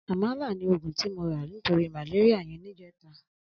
Amàlá ni ógún ti mó rà nitóri màlériá yèn nijètá